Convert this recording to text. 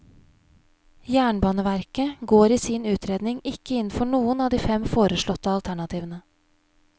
Jernbaneverket går i sin utredning ikke inn for noen av de fem foreslåtte alternativene.